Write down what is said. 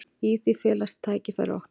Í því felast tækifæri okkar.